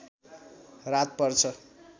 रात पर्छ